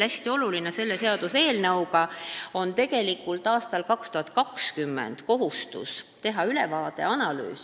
Hästi oluline on selle seaduseelnõu puhul veel see, et aastal 2020 on kohustus teha ülevaade, analüüs.